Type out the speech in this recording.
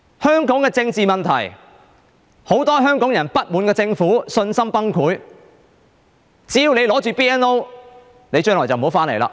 香港的政治問題，很多香港人不滿政府，信心崩潰，只要你持有 BNO， 你將來就不要回來。